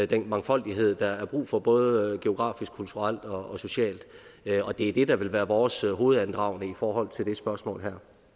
den mangfoldighed der er brug for både geografisk kulturelt og socialt det er det der vil være vores hovedandragende i forhold til det spørgsmål